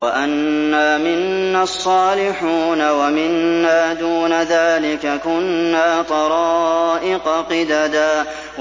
وَأَنَّا مِنَّا الصَّالِحُونَ وَمِنَّا دُونَ ذَٰلِكَ ۖ كُنَّا طَرَائِقَ قِدَدًا